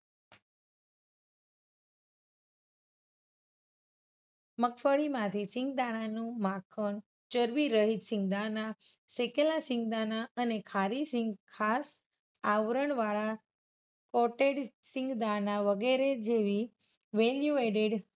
મગફળીમાંથી સિંગદાણાનું માખણ, ચરબીરહિત સિંગદાણા, શેકેલા સિંગદાણા અને ખારી સિંગ, ખાસ આવરણવાળા coated સિંગદાણા વગેરે જેવી value added